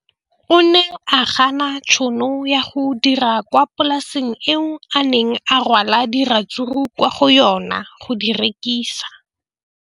O ne a gana tšhono ya go dira kwa polaseng eo a neng rwala diratsuru kwa go yona go di rekisa.